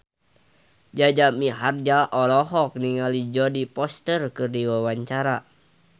Jaja Mihardja olohok ningali Jodie Foster keur diwawancara